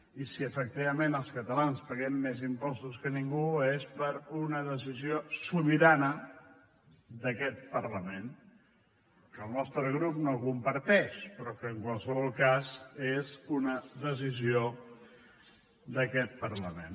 i si efectivament els catalans paguem més impostos que ningú és per una decisió sobirana d’aquest parlament que el nostre grup no comparteix però que en qualsevol cas és una decisió d’aquest parlament